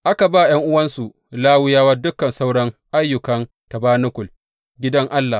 Aka ba ’yan’uwansu Lawiyawa dukan sauran ayyukan tabanakul, gidan Allah.